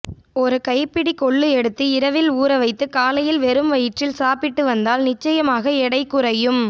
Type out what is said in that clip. ஒரு கைப்பிடி கொள்ளு எடுத்து இரவில் ஊறவைத்து காலையில் வெறும் வயிற்றில் சாப்பிட்டு வந்தால் நிச்சயமாக எடை குறையும்